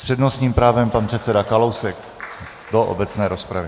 S přednostním právem pan předseda Kalousek do obecné rozpravy.